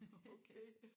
Okay